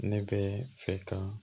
Ne bɛ fɛ ka